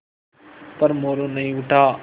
पर मोरू नहीं उठा